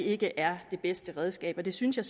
ikke er det bedste redskab og det synes jeg